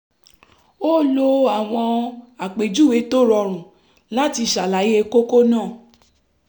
ó lo àwọn àpèjúwe tó rọrùn láti ṣàlàyé kókó náà